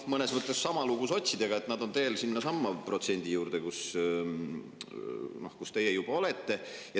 Mõnes mõttes on sama lugu sotsidega, nad on teel sellesama protsendi poole, kus teie juba olete.